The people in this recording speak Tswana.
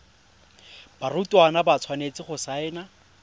barutwana ba tshwanetse go saena